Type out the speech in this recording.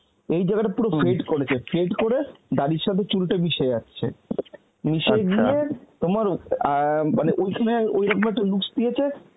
এই জায়গাটা পুরো fade করেছে, fade করে দাড়ির সাথে চুলটা মিশে যাচ্ছে. মিশে গিয়ে তোমার অ্যাঁ মানে ওইখানে ওইরম ভাবে looks দিয়েছে